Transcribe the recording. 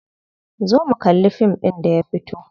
Zo mu kalli fim ɗin da ya fito.